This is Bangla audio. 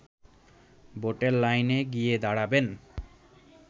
ভোটের লাইনে গিয়ে দাঁড়াবেন